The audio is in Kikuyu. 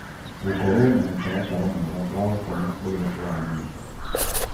Gũkorũo na mũtaratara mwega wa gũkoma ũrĩa ũramenyeka